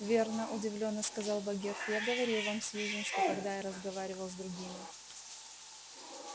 верно удивлённо сказал богерт я говорил вам сьюзен что когда я разговаривал с другими